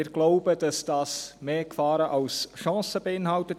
Wir glauben, dass dieses mehr Gefahren als Chancen beinhaltet.